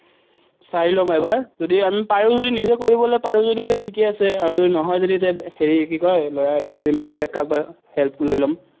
চাই ল'ম এবাৰ, যদি আমি পাৰো যদি নিজে কৰিবলৈ পাৰো যদি ঠিকেই আছে, আৰু যদি নহয় যদি হেৰি কি কয় lawyer এটা ধৰিম, বেলেগ কাৰবাৰ help লৈ ল'ম।